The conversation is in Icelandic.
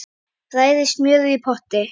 Bræðið smjörið í potti.